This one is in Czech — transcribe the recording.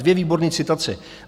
Dvě výborné citace.